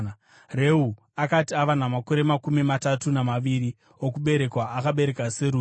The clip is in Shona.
Reu akati ava namakore makumi matatu namaviri okuberekwa, akabereka Serugi.